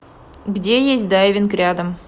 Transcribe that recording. где есть дайвинг рядом